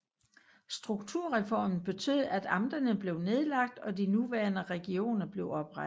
Strukturreformen betød at amterne blev nedlagt og de nuværende regioner blev oprettet